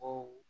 O